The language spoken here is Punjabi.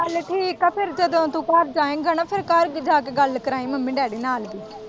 ਚੱਲ ਠੀਕ ਏ ਫੇਰ ਜਦੋਂ ਤੂੰ ਘਰ ਜਾਏਗਾ ਨਾ ਫੇਰ ਘਰ ਜਾ ਕੇ ਗੱਲ ਕਰਾਈ ਮੰਮੀ-ਡੈਡੀ ਨਾਲ਼ ਵੀ।